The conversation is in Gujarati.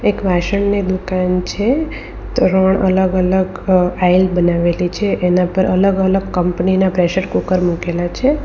એક વાસણની દુકાન છે ત્રણ અલગ અલગ અ આઇલ બનાવેલી છે એના પર અલગ અલગ કંપનીના પ્રેશર કુકર મુકેલા છે.